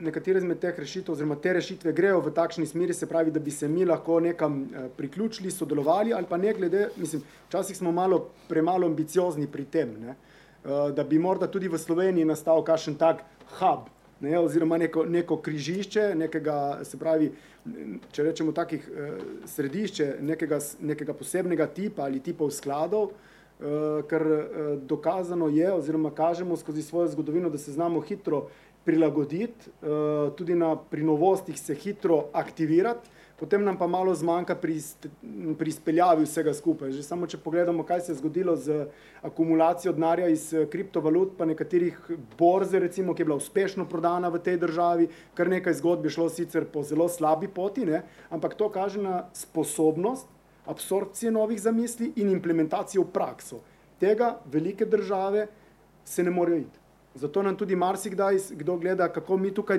nekatere izmed teh rešitev oziroma te rešitve grejo v takšni smeri, se pravi, da bi se mi lahko nekam, priključili ali pa sodelovali ali pa ne glede, mislim, včasih smo malo premalo ambiciozni pri tem, ne. da bi morda tudi v Sloveniji nastal kakšen tak hub. Ne, oziroma neko, neko križišče, nekega se pravi, če rečemo takih, središče nekega nekega posebnega tipa ali tipov skladov, ker, dokazano je oziroma kažemo skozi svojo zgodovino, da se znamo hitro prilagoditi, tudi na pri novostih se hitro aktivirati, potem nam pa malo zmanjka pri pri izpeljavi vsega skupaj. Že samo če pogledamo, kaj se je zgodilo z akumulacijo denarja iz, kriptovalut pa nekaterih borz recimo, ki je bila uspešno prodana v tej državi, kar nekaj zgodb je šlo sicer po zelo slabi poti, ne, ampak to kaže na sposobnost absorpcije novih zamisli in implementacij v prakso. Tega velike države se ne morejo iti. Zato nam tudi marsikdaj kdo gleda, kako mi tukaj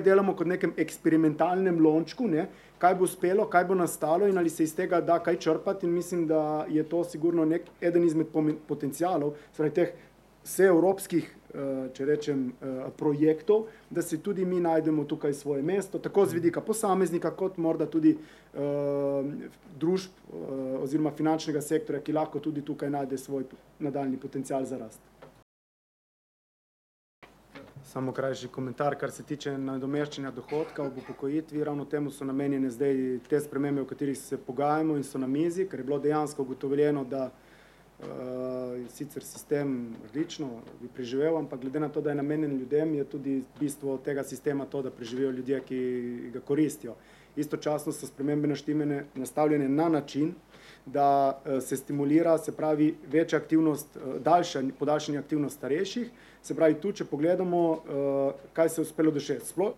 delamo kot v nekem eksperimentalnem lončku, ne, kaj bo uspelo, kaj bo nastalo in ali se iz tega da kaj črpati in mislim, da je to sigurno neki, eden izmed potencialov, se pravi teh vseevropskih, če rečem projektov, da si tudi mi najdemo tukaj svoje mesto, tako z vidika posameznika kot morda tudi, družb oziroma finančnega sektorja, ki lahko tudi tukaj najde svoj nadaljnji potencial za rast. Samo krajši komentar, kar se tiče nadomeščanja dohodkov ob upokojitvi, ravno temu so namenjene zdaj te spremembe, o katerih se pogajamo in so na mizi, ker je bilo dejansko ugotovljeno, da, je sicer sistem odlično bi preživel, ampak glede na to, da je namenjen ljudem, je tudi bistvo tega sistema to, da preživijo ljudje, ki ga koristijo. Istočasno so spremembe naštimane, nastavljene, na način, da, se stimulira, se pravi več aktivnost, podaljšanje aktivnosti starejših se pravi, tudi če pogledamo, kaj se uspelo doseči, sploh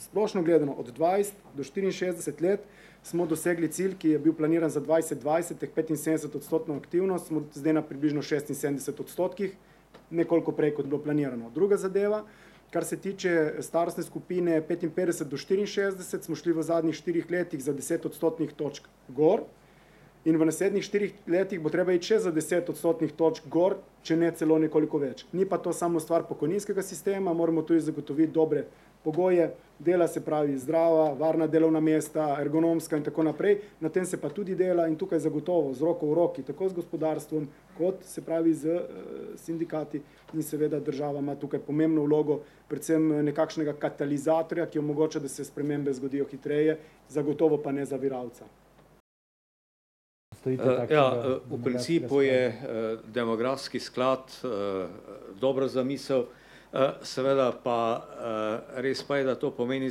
splošno gledano od dvajset do štiriinšestdeset let smo dosegli cilj, ki je bil planiran za dvajset dvajset teh petinsedemdesetodstotno aktivnost smo zdaj na približno šestinsedemdesetih odstotkih, nekoliko prej, kot je bilo planirano. Druga zadeva, kar se tiče starostne skupine petinpetdeset do štiriinšestdeset smo šli v zadnjih štirih letih za deset odstotnih točk gor in v naslednjih štirih letih bo treba iti še za deset odstotnih točk gor, če ne celo nekoliko več. Ni pa to samo stvar pokojninskega sistema, moramo tudi zagotoviti dobre pogoje dela, se pravi zdrava, varna delovna mesta, ergonomska in tako naprej. Na tem se pa tudi dela in tukaj zagotovo z roko v roki, tako z gospodarstvom kot, se pravi, s, sindikati in seveda država ima tukaj pomembno vlogo predvsem nekakšnega katalizatorja, ki omogoča, da se spremembe zgodijo hitreje, zagotovo pa ne zaviralca. ja, v principu je, demografski sklad, dobra zamisel, seveda pa res pa je, da to pomeni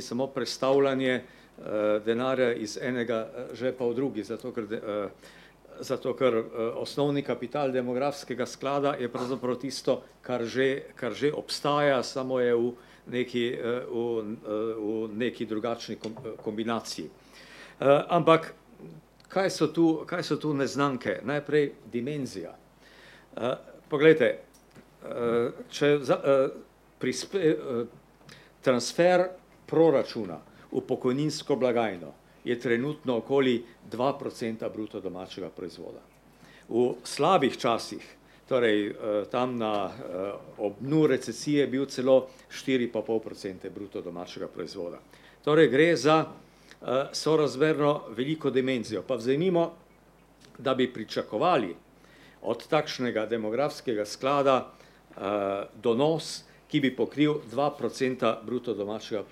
samo prestavljanje, denarja iz enega žepa v drugi, zato ker, zato ker, osnovni kapital demografskega sklada je pravzaprav tisto, kar že, kar že obstaja, samo je v neki, v, v neki drugačni kombinaciji. ampak, kaj so tu, kaj so tu neznanke? Najprej dimenzija. poglejte, če transfer proračuna v pokojninsko blagajno, je trenutno okoli dva procenta bruto domačega proizvoda. V slabih časih, torej, tam na, ob dnu recesije je bil celo štiri pa pol procente bruto domačega proizvoda. Torej gre za, sorazmerno veliko dimenzijo. Pa vzemimo, da bi pričakovali od takšnega demografskega sklada, donos, ki bi pokril dva procenta bruto domačega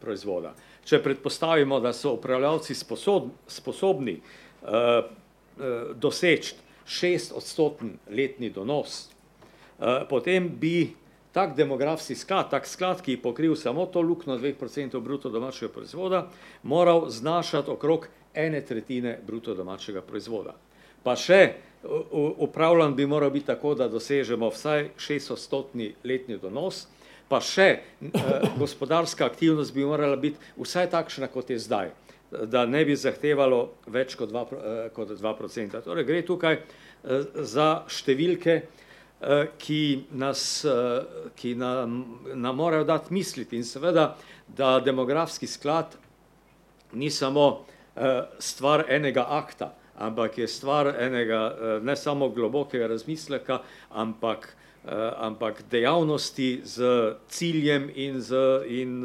proizvoda. Če predpostavimo, da so upravljavci sposobni, doseči šestodstotni letni donos, potem bi tak demografski sklad, tak sklad, ki je pokril samo to luknjo dveh procentov bruto domačega proizvoda, moral znašati okrog ene tretjine bruto domačega proizvoda. Pa še, upravljan bi moral biti tako, da dosežemo vsaj šestodstotni letni donos pa še gospodarska aktivnost bi morala biti vsaj takšna, kot je zdaj. da ne bi zahtevalo več kot dva kot dva procenta, torej gre tukaj, za številke, ki nas ki nam, nam morajo dati misliti in seveda, da demografski sklad ni samo, stvar enega akta, ampak je stvar enega, ne samo globokega razmisleka, ampak, ampak dejavnosti s ciljem in z in,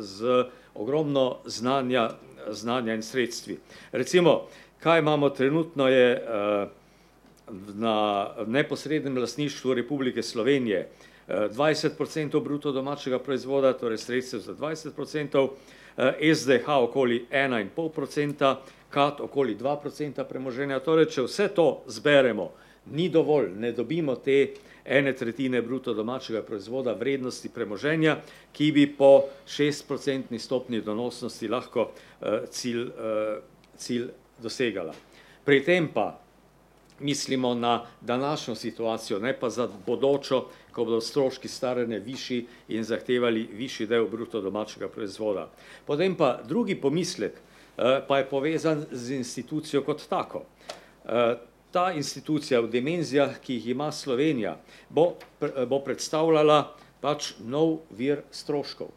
z ogromno znanja, znanja in sredstvi. Recimo, kaj imamo trenutno, je, na neposrednem lastništvu Republike Slovenije, dvajset procentov bruto domačega proizvoda, torej sredstev za dvajset procentov, SDH okoli ena in pol procenta, KAD okoli dva procenta premoženja. Torej, če vse to zberemo, ni dovolj, ne dobimo te ene tretjine bruto domačega proizvoda vrednosti premoženja, ki bi po šestprocentni stopnji donosnosti lahko, cilj, cilj dosegala. Pri tem pa mislimo na današnjo situacijo, ne pa za bodočo, ko bodo stroški staranja višji in zahtevali višji del bruto domačega proizvoda. Potem pa drugi pomislek, pa je povezan z institucijo kot tako. ta institucija v dimenzijah, ki jih ima Slovenija, bo bo predstavljala pač nov vir stroškov.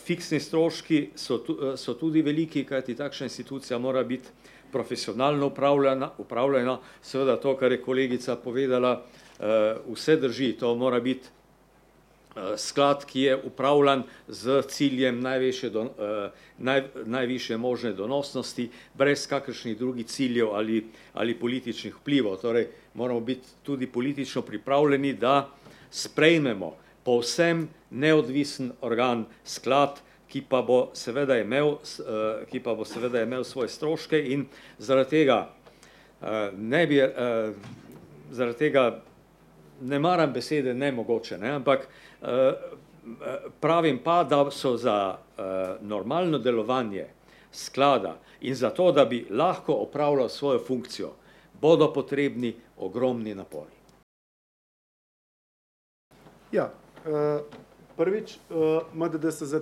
fiksni stroški so so tudi veliki, kajti takšna institucija mora biti profesionalno upravljana seveda to, kar je kolegica povedala, vse drži. To mora biti, sklad, ki je upravljan s ciljem najvišje, najvišje možne donosnosti, brez kakršnih drugih ciljev ali ali političnih vplival, torej moramo biti tudi politično pripravljeni, da sprejmemo povsem neodvisen organ, sklad, ki pa bo seveda imel, ki pa bo seveda imel svoje stroške in zaradi tega, ne bi, zaradi tega ne maram besede nemogoče, ne, pravim pa, da so za, normalno delovanje sklada in zato, da bi lahko opravljal svojo funkcijo, bodo potrebni ogromni napori. Ja, prvič, ima da se zdaj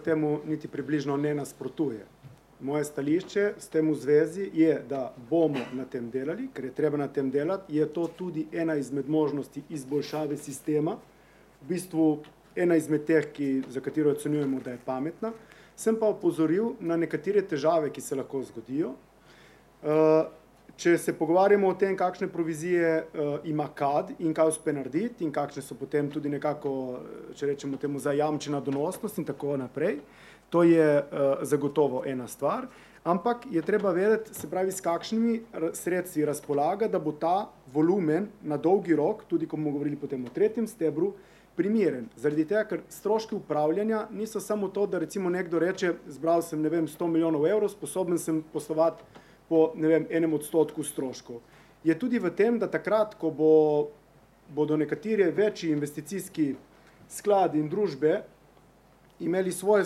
temu niti približno ne nasprotuje, moje stališče s tem v zvezi je, da bomo na tem delali, ker je treba na tem delati, je to tudi ena izmed možnosti izboljšave sistema. V bistvu ena izmed teh, ki, za katero ocenjujemo, da je pametna. Sem pa opozoril na nekatere težave, ki se lahko zgodijo, če se pogovarjamo o tem, kakšne provizije, ima kad in kaj uspe narediti in kakšne so potem tudi nekako, če rečemo temu, zajamčena donosnost in tako naprej, to je, zagotovo ena stvar, ampak je treba vedeti, se pravi, s kakšnimi sredstvi razpolaga, da bo ta volumen na dolgi rok tudi, ko bomo govorili potem o tretjem stebru, primeren. Zaradi tega, ker stroški upravljanja niso samo to, da recimo nekdo reče, zbral samo, ne vem, sto milijonov evrov, sposoben sam poslovati po, ne vem, enem odstotku stroškov. Je tudi v tem, da takrat, ko bo bodo nekateri večji investicijski skladi in družbe imeli svoje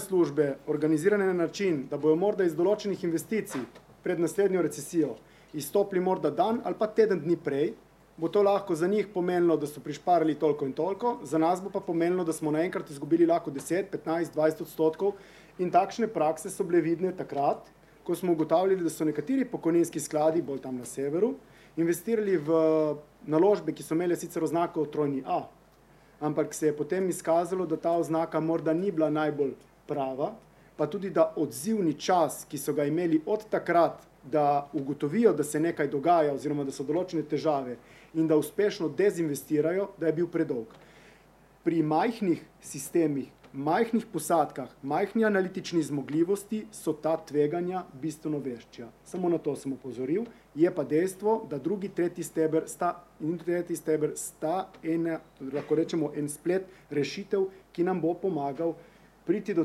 službe, organizirane na način, da bojo morda iz določenih investicij pred naslednjo recesijo izstopili morda dan ali pa teden dni prej, bo to lahko za njih pomenilo, da so prišparali toliko in toliko, za nas bo pa pomenilo, da smo naenkrat izgubili petnajst, dvajset odstotkov in takšne prakse so bile vidne takrat, ko smo ugotavljali, da so nekateri pokojninski skladi bolj tam na severu, investirali v naložbe, ki so imele sicer oznako trojni A. Ampak se je potem izkazalo, da ta oznaka morda ni bila najbolj prava, pa tudi da odzivni čas, ki so ga imeli od takrat, da ugotovijo, da se nekaj dogaja oziroma da so določene težave in da uspešno dezinvestirajo, da je bil predolg. Pri majhnih sistemih, majhnih posadkah, majhni analitični zmogljivosti so ta tveganja bistveno večja. Samo na to sem opozoril. Je pa dejstvo, da drugi, tretji steber sta in tretji steber sta ena, lahko rečemo en splet rešitev, ki nam bo pomagal priti do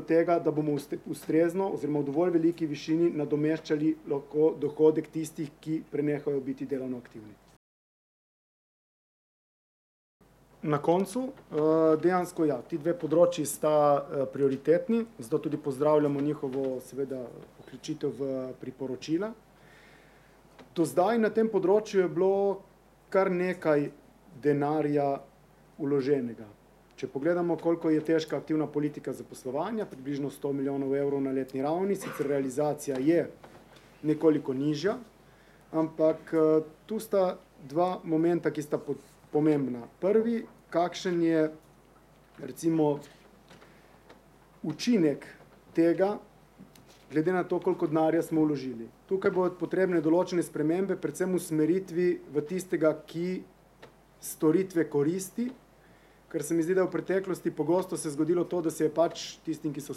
tega, da bomo ustrezno oziroma v dovolj veliki višini nadomeščali dohodek tistih, ki prenehajo biti delovno aktivni. Na koncu, dejansko ja, ti dve področji sta, prioritetni, zato tudi pozdravljamo njihovo seveda vključitev v priporočila. Do zdaj na tem področju je bilo kar nekaj denarja vloženega. Če pogledamo, koliko je težka aktivna politika zaposlovanja, približno sto milijonov evrov na letni ravni, sicer realizacija je nekoliko nižja, ampak, to sta dva momenta, ki sta pomembna, prvi, kakšen je recimo učinek tega glede na to, koliko denarja smo vložili, tukaj bojo potrebne določene spremembe predvsem v usmeritvi v tistega, ki storitve koristi, ker se mi zdi, da v preteklosti pogosto se zgodilo to, da se je pač tistim, ki so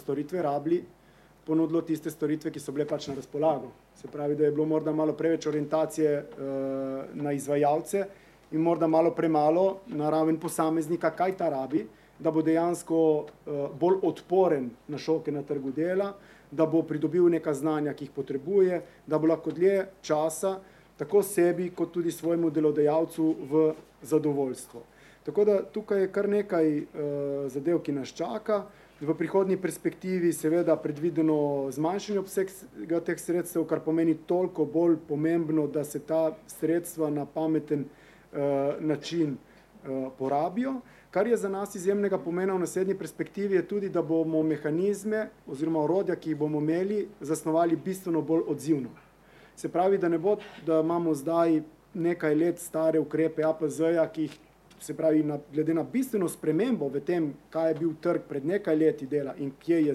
storitve rabili, ponudilo tiste storitve, ki so bile pač na razpolago. Se pravi, da je bilo morda malo več orientacije, na izvajalce in morda malo premalo na raven posameznika, kaj ta rabi, da bo dejansko, bolj odporen na šoke na trgu dela, da bo pridobil neka znanja, ki jih potrebuje, da bo lahko dlje časa tako sebi kot tudi svojemu delodajalcu v zadovoljstvo. Tako da tukaj je kar nekaj, zadev, ki nas čaka, v prihodnji perspektivi seveda predvideno zmanjšanje obsega teh sredstev, kar pomeni toliko bolj pomembno, da se ta sredstva na pameten, način, porabijo, kar je za nas izjemnega pomena v naslednji perspektivi, je tudi, da bomo mehanizme oziroma orodja, ki jih bomo imeli, zasnovali bistveno bolj odzivno. Se pravi, da ne bo, da imamo zdaj nekaj let stare ukrepe APZ-ja, ki jih, se pravi na glede na bistveno spremembo v tem, kaj je bil trg pred nekaj leti dela in kje je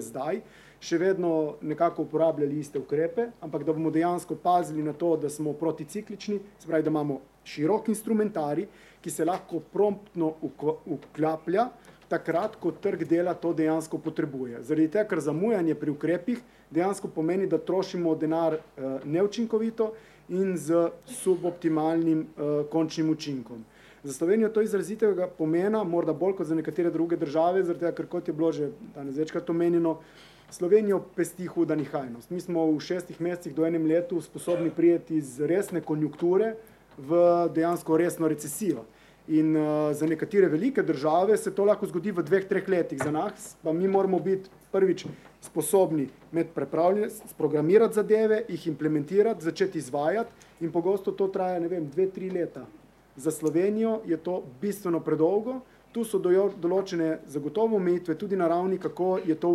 zdaj. Še vedno nekako uporabljali iste ukrepe, ampak da bomo dejansko pazili na to, da smo proticiklični, se pravi, da imamo širok instrumentarij, ki se lahko promptno vklaplja takrat, ko trg dela to dejansko potrebuje, zaradi tega, ker zamujanje pri ukrepih dejansko pomeni, da trošimo denar, neučinkovito in s suboptimalnim, končnim učinkom. Za Slovenijo je to izrazitega pomena, morda bolj kot za neke druge države zaradi tega, kot je bilo že danes večkrat omenjeno, Slovenijo pesti huda nihajnost. Mi smo v šestih mesecih do enem letu sposobni priti z resne konjunkture v dejansko resno recesijo. In, za nekatere velike države se to lahko zgodi v dveh, treh letih. Za nas, pa mi moramo biti prvič sposobni imeti sprogramirati zadeve, jih implementirati, začeti izvajati in pogosto to traja, ne vem, dve, tri leta. Za Slovenijo je to bistveno predolgo, tu so določene zagotovo omejitve, tudi na ravni, kako je to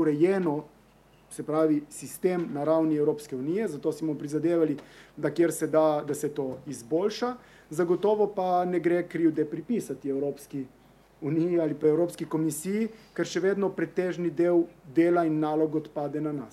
urejeno, se pravi sistem na ravni Evropske unije, zato si bomo prizadevali, da kjer se da, da se to izboljša zagotovo pa ne gre krivde pripisati Evropski uniji ali pa Evropski komisiji, ker še vedno pretežni del dela in nalog odpade na nas.